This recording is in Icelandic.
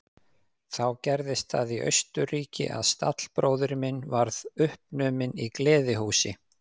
Þá gerðist það í Austurríki að stallbróðir minn varð uppnuminn í gleðihúsi.